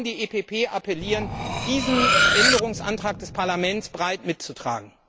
Ich kann hier nur an die EPP appellieren, diesen Änderungsantrag des Parlaments breit mitzutragen.